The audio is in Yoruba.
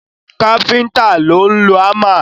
Káfíntà ló ń lọ hámà.